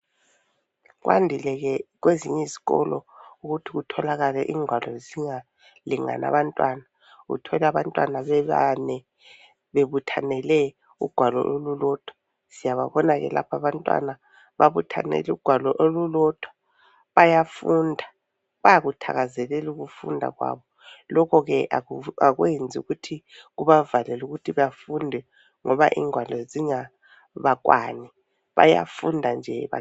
Kwandile ke kwezinye izikolo ukuthi kutholakale ingwalo zingalingani abantwana. Uthole abantwana bebane, bebuthanele ugwalo olulodwa. Siyababona ke lapha abantwana, babuthanele ugwalo, olulodwa. Bayafunda. Bayakuthakazelela ukufunda kwabo. Lokhu ke kakwenzi ukuthi kubavalele ukuthi bafunde, ngoba ingwalo zingabakwani. Bayafunda nje, ba...